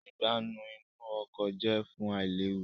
Ìgbánú inú ọkọ̀ jẹ fún ailewu